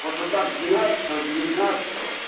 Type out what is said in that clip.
просто так двенадцатого девятнадцатого